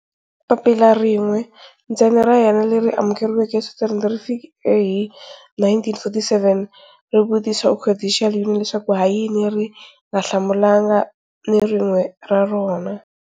Papila rin'we ntsena ra yena leri amukeriweke eSwitzerland ri fike hi 1947, ri vutisa Occidental Union leswaku ha yini ri nga hlamulanga ni rin'we ra rona.